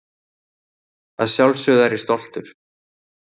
Að sjálfsögðu er ég stoltur.